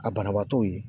A banabaatɔw ye